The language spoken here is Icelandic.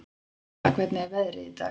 Stella, hvernig er veðrið í dag?